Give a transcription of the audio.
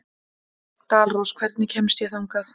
Dalrós, hvernig kemst ég þangað?